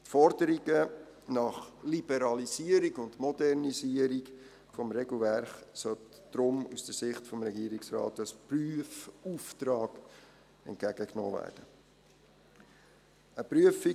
Die Forderungen nach Liberalisierung und Modernisierung des Regelwerks sollte daher aus Sicht des Regierungsrates als Prüfauftrag entgegengenommen werden.